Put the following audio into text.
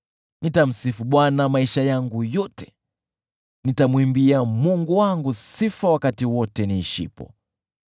Nitamsifu Bwana maisha yangu yote; nitamwimbia Mungu wangu sifa wakati wote niishipo.